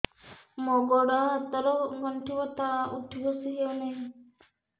ମୋର ଗୋଡ଼ ହାତ ର ଗଣ୍ଠି ବଥା ଉଠି ବସି ହେଉନାହିଁ